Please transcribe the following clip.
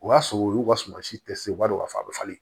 O y'a sɔrɔ u y'u ka suma si te se u b'a dɔn k'a fɔ a bɛ falen